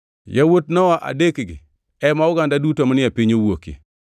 Yawuot Nowa adekgi ema oganda duto manie piny owuokie.